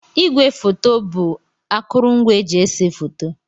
Ígwé fòto bụ akurungwa eji ese fòto.